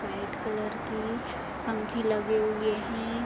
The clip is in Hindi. वाइट कलर की पंखे लगे हुए हैं।